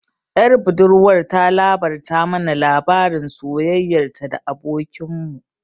Ƴar budurwar ta labarta mana labarin soyayyar ta da abokin mu